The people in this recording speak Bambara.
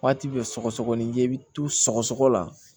Waati bɛɛ sɔgɔsɔgɔni jɛ bɛ tu sɔgɔ la